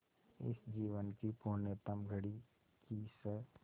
इस जीवन की पुण्यतम घड़ी की स्